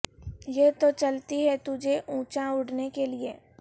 یہ تو چلتی ہے تجھے اونچا اڑنے کے لیے